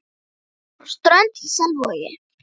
Ég er frá Strönd í Selvogi.